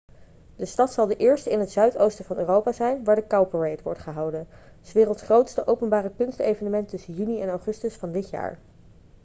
de stad zal de eerste in het zuidoosten van europa zijn waar de cowparade wordt gehouden s werelds grootste openbare kunstevenement tussen juni en augustus van dit jaar